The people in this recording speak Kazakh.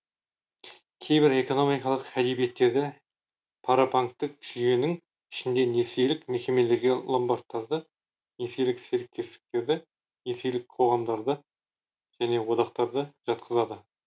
кейбір экономикалық әдебиеттерде парабанктік жүйенің ішіндегі несиелік мекемелерге ломбардтарды несиелік серіктестіктерді несиелік қоғамдарды және одақтарды жатқызады